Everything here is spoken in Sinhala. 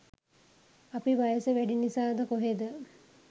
අපි වයස වැඩි නිසාද කොහෙද